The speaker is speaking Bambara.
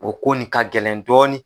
O ko nin ka gɛlɛn dɔɔnin